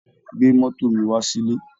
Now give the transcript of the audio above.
Gbé mọ́tò mi wá sílé